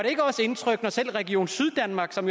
ikke også indtryk når selv region syddanmark som